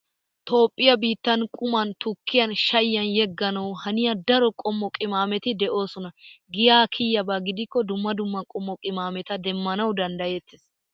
Toophphiyaa biittan quman, tukkiyan, shayiyan yegganawu haniya daro qommo qimaameti de"oosona. Giyaa kiyiyaaba gidikko dumma dumma qommo qimaameta demmanawu danddayettes.